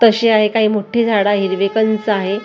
तशी आहे काय मोठी झाडं हिरवेकंच आहे.